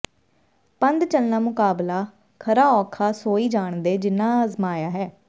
ਪੰਧ ਚਲਣਾਂ ਮੁਕਬਲਾ ਖਰਾ ਔਖਾ ਸੋਈ ਜਾਣਦੇ ਜਿਨ੍ਹਾਂ ਅਜ਼ਮਾਇਆ ਏ